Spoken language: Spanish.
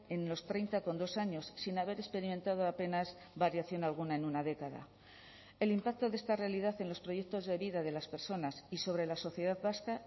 en los treinta coma dos años sin haber experimentado apenas variación alguna en una década el impacto de esta realidad en los proyectos de vida de las personas y sobre la sociedad vasca